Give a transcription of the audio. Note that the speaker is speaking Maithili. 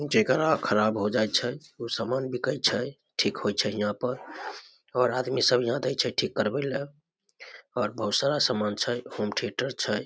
जेकरा खराब होय जाय छै ऊ सामान बिके छै ठीक होय छै यहां पर और आदमी सब यहां दे छै ठीक करबे ले और बहुत सारा सामान छै होम थियेटर छै।